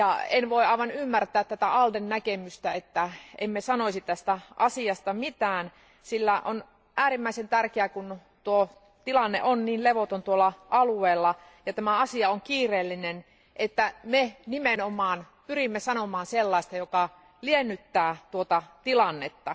En voi aivan ymmärtää ALDEn näkemystä, että emme sanoisi tästä asiasta mitään, sillä on äärimmäisen tärkeää, kun tilanne on levoton tuolla alueella, ja tämä asia on kiireellinen, että me nimenomaan pyrimme sanomaan sellaista, joka liennyttää tuota tilannetta.